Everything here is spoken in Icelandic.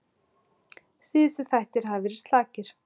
Síðustu þættir hafa verið slakir.